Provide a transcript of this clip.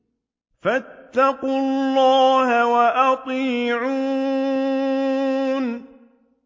فَاتَّقُوا اللَّهَ وَأَطِيعُونِ